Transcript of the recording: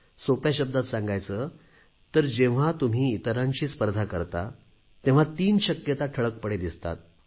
सोप्या शब्दांत सांगायचे तर जेव्हा तुम्ही इतरांशी स्पर्धा करता तेव्हा तीन शक्यता ठळकपणे दिसतात